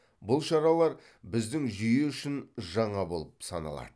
бұл шаралар біздің жүйе үшін жаңа болып саналады